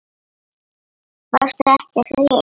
Varstu ekki að segja upp?